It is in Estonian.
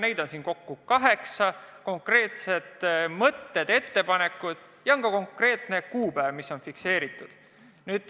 Neid on siin kokku kaheksa: konkreetsed mõtted-ettepanekud ja on ka konkreetne kuupäev.